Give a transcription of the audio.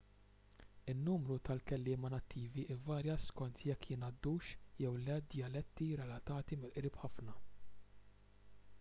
in-numru ta' kelliema nattivi ivarja skont jekk jingħaddux jew le djaletti relatati mill-qrib ħafna